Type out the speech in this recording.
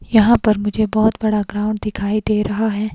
यहां पर मुझे बहुत बड़ा ग्राउंड दिखाई दे रहा है।